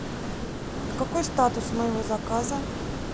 какой статус моего заказа